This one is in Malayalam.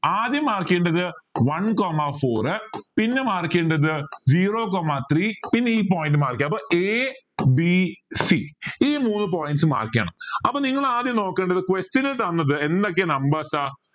ആദ്യം mark ചെയ്യേണ്ടത് one coma four പിന്നെ mark ചെയ്യേണ്ടത് zero coma three പിന്നെ ഈ point mark ചെയ്യാം അപ്പോൾ ABC ഈ മൂന്ന് points mark ചെയ്യണം അപ്പോൾ നിങ്ങൾ ആദ്യം നോക്കേണ്ടത് question ൽ തന്നത് എന്തൊക്കെ numbers